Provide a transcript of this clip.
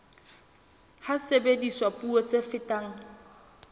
ha sebediswa puo tse fetang